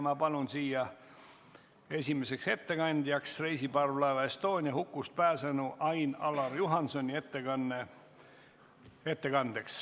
Ma palun siia esimeseks ettekandeks kõnetooli reisiparvlaeva Estonia hukust pääsenu Ain-Alar Juhansoni.